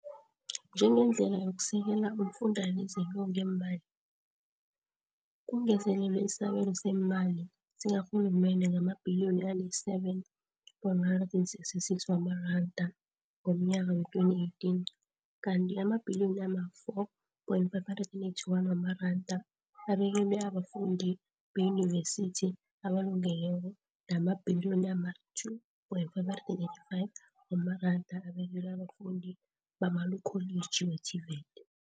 Njengendlela yokusekela umfundalize lo ngeemali, kungezelelwe isabelo seemali sikarhulumende ngamabhiliyoni ali-7.166 wamaranda ngomnyaka wee-2018, kanti amabhiliyoni ama-4.581 wamaranda abekelwe abafundi beyunivesithi abalungelweko namabhiliyoni ama-2.585 wamaranda abekelwe abafundi bemakholiji we-TVET.